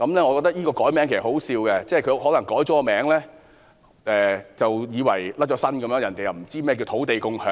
我覺得易名是可笑的，她可能以為易名後政府便能脫身，別人便不知何謂"土地共享"。